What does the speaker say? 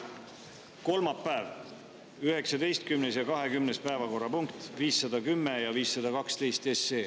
Kolmapäev, 19. ja 20. päevakorrapunkt, 510 ja 512 SE.